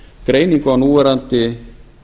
greiningu á núverandi